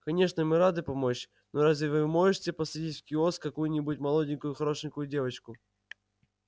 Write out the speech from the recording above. конечно мы рады помочь но разве вы можете посадить в киоск какую-нибудь молоденькую хорошенькую девочку